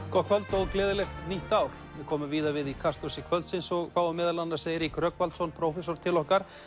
gott kvöld og gleðilegt nýtt ár við komum víða við í Kastljósi kvöldsins og fáum meðal annars Eirík Rögnvaldsson prófessor til okkar